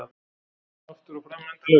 Aftur og fram endalaust.